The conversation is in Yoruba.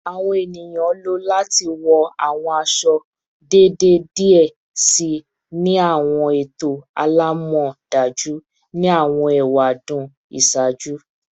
Awọn eniyan lo lati wọ awọn aṣọ-iṣọ deede diẹ sii ni awọn eto alamọdaju ni awọn ewadun iṣaaju